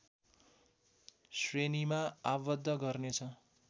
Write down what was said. श्रेणीमा आबद्ध गर्नेछ